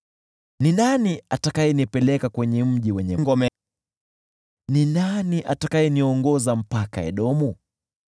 Ni nani atakayenipeleka hadi mji wenye ngome? Ni nani atakayeniongoza hadi nifike Edomu?